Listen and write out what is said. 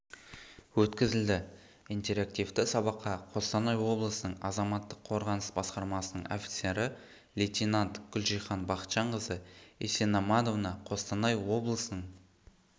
өткізілді интерактивті сабаққа қостанай облысының азаматтық қорғаныс басқармасының офицері лейтенант гүлжихан бақытжанқызы исеноманова қостанай облысының